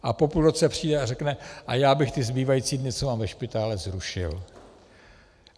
A po půl roce přijde a řekne: a já bych ty zbývající dny, co mám ve špitále, zrušil.